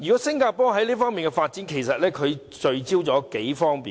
新加坡在這方面的發展，聚焦在數方面。